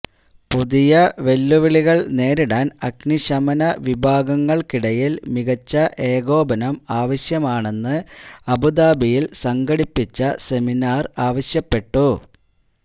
പുതിയ വെല്ലുവിളികള് നേരിടാന് അഗ്നിശമന വിഭാഗങ്ങള്ക്കിടയില് മികച്ച ഏകോപനം ആവശ്യമാണെന്ന് അബൂദബിയില് സംഘടിപ്പിച്ച സെമിനാര് ആവശ്യപ്പെട്ടു